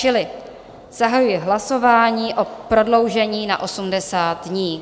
Čili zahajuji hlasování o prodloužení na 80 dní.